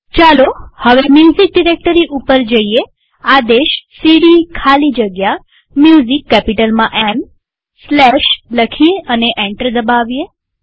ચાલો હવે music directory ઉપર જઈએઆદેશ સીડી ખાલી જગ્યા Musicકેપિટલમાં એમ સ્લેશ લખી અને એન્ટર દબાવીએ